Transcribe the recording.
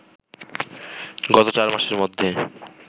গত চারমাসের মধ্যে